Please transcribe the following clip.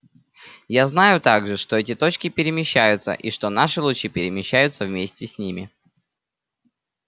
я знаю также что эти точки перемещаются и что наши лучи перемещаются вместе с ними